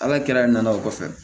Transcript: Ala kɛra nana o kɔfɛ